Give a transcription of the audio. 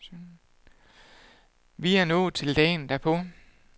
Vi er nået til dagen derpå.